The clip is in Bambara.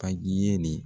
Ka ɲinɛ nin